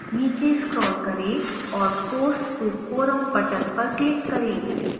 नीचे scroll करें और post to forum button पर click करें